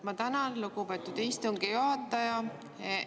Ma tänan, lugupeetud istungi juhataja!